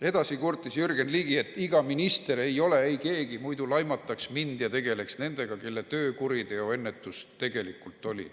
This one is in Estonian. " Edasi kurtis Jürgen Ligi, et "iga minister ei ole eikeegi, muidu ei laimataks mind ja tegeldaks nendega, kelle töö kuriteoennetus tegelikult oli.